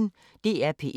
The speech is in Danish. DR P1